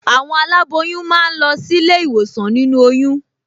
Àwọn aláboyún máa ń lọ sílé ìwòsàn nínú oyún